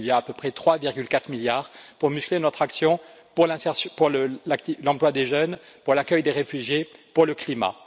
Il y a à peu près 3,4 milliards pour muscler notre action pour l'insertion, pour l'emploi des jeunes, pour l'accueil des réfugiés, pour le climat.